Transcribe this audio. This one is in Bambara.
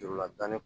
Jurula tani